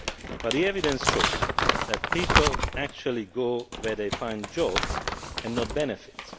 But the evidence shows that people actually go where they find jobs and not benefits.